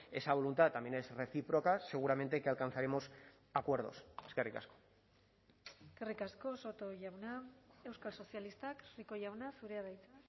esa voluntad también es recíproca seguramente que alcanzaremos acuerdos eskerrik asko eskerrik asko soto jauna euskal sozialistak rico jauna zurea da hitza